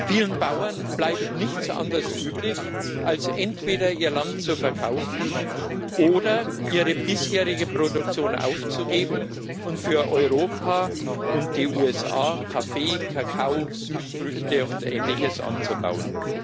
Vielen Bauern bleibt nichts anderes übrig, als entweder ihr Land zu verkaufen oder ihre bisherige Produktion aufzugeben und für Europa und die USA Kaffee, Kakao, Südfrüchte und ähnliches anzubauen.